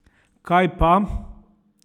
Kaj pa?